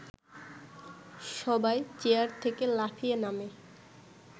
সবাই চেয়ার থেকে লাফিয়ে নামে